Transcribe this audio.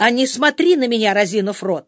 а не смотри на меня разинув рот